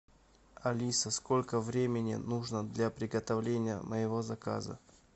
алиса сколько времени нужно для приготовления моего заказа